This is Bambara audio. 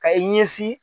Ka i ɲɛsin